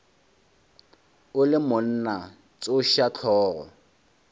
o le monna tsoša hlogo